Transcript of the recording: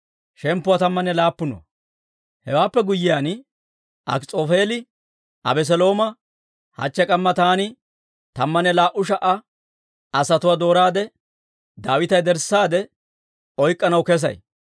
Hewaappe guyyiyaan Akis'oofeeli Abeselooma, «Hachche k'amma taani tammanne laa"u sha"a asatuwaa dooraade, Daawita yederssaade oyk'k'anaw kesay.